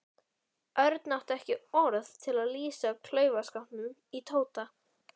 Örn átti ekki orð til að lýsa klaufaskapnum í Tóta.